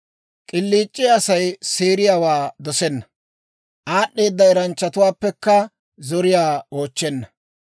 K'iliic'iyaa Asay seeriyaawaa dosenna; aad'd'eeda eranchchatuwaappekka zoriyaa oochchenna.